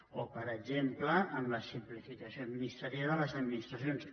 o per exemple en la simplificació administrativa de les administracions